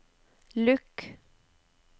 lukk